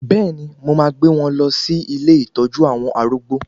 Bẹ́ẹ̀ni, mo máa gbé wọn lọ sí ilé ìtọ́jú àwọn arúgbó